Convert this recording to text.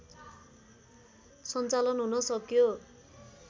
सञ्चालन हुन सक्यो